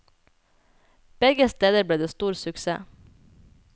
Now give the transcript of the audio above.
Begge steder ble det stor suksess.